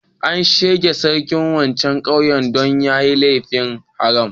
An tsige sarkin wancan ƙauyen dan ya yi laifin haram.